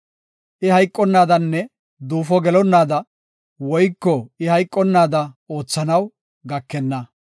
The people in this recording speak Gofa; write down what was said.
I hayqonnaadanne duufo gelonnaada, woyko I hayqonnaada oothanaw gakenna.